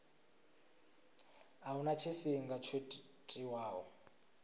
a huna tshifhinga tsho tiwaho